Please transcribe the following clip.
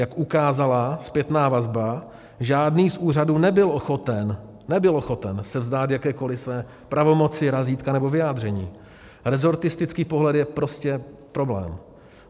Jak ukázala zpětná vazba, žádný z úřadů nebyl ochoten se vzdát jakékoliv své pravomoci, razítka nebo vyjádření, rezortistický pohled je prostě problém.